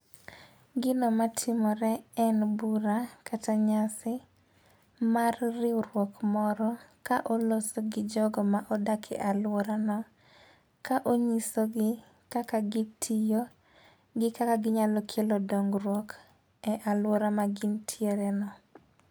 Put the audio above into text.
Gino matimore en bura kata nyasi mar riwruok moro ka oloso gi jogo modak e aluora no. Ka onyiso gi kaka gitiyo gi kaka ginyalo kelo dongruok e aluora ma gintiere no.